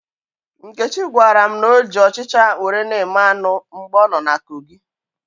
Nkechi gwara m na o ji ọchịcha were na-eme anụ mgbe ọ nọ na Kogi